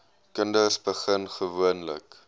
kinders begin gewoonlik